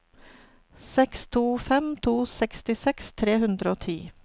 seks to fem to sekstiseks tre hundre og ti